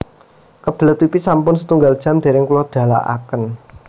Kebelet pipis sampun setunggal jam dereng kulo dalaken